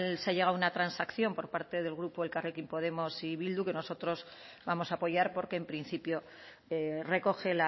se ha llegado a una transacción por parte del grupo elkarrekin podemos y bildu que nosotros vamos a apoyar porque en principio recoge